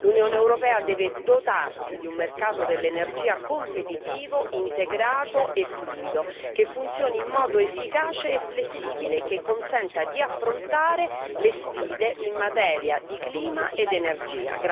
L'Unione europea deve dotarsi di un mercato dell'energia competitivo, integrato e fluido, che funzioni in modo efficace e flessibile e che consenta di affrontare le sfide in materia di clima ed energia.